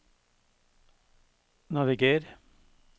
naviger